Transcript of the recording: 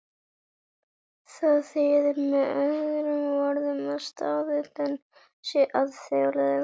Það þýðir með öðrum orðum að staðallinn sé alþjóðlegur.